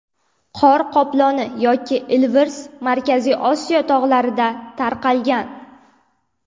Qor qoploni yoki ilvirs, Markaziy Osiyo tog‘larida tarqalgan.